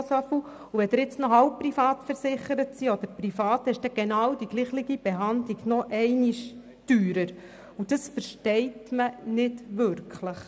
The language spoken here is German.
Wenn Sie halbprivat oder privat versichert sind, ist die genau gleiche Behandlung noch einmal teurer, und das versteht man nicht wirklich.